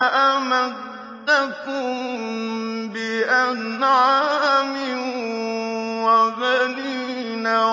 أَمَدَّكُم بِأَنْعَامٍ وَبَنِينَ